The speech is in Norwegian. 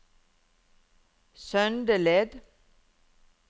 Søndeled